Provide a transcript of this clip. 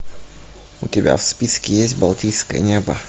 у тебя в списке есть балтийское небо